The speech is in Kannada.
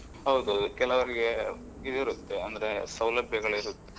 ಹೌದು, ಕೆಲವರಿಗೆ ಇದಿರುತ್ತೆ ಅಂದ್ರೆ ಸೌಲಭ್ಯಗಳು ಇರುದಿಲ್ಲ.